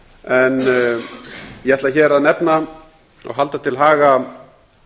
en ég ætla hér að nefna og halda til haga